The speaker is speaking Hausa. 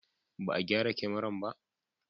Ba a gyara kamaran ba?